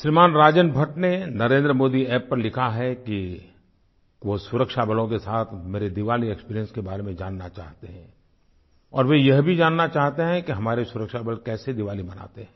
श्रीमान् राजन भट्ट ने NarendramodiApp पर लिखा है कि वो सुरक्षा बलों के साथ मेरी दिवाली एक्सपीरियंस के बारे में जानना चाहते हैं और वे यह भी जानना चाहते हैं कि हमारे सुरक्षा बल कैसे दिवाली मनाते हैं